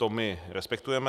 To my respektujeme.